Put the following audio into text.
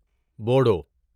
Bodo